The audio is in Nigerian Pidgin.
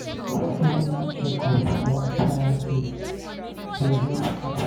seasonal check-up for appliances dey help appliances dey help prevent breakdowns when we need them.